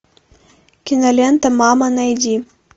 кинолента мама найди